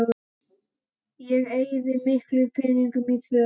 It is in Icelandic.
Ég eyði ekki miklum peningum í föt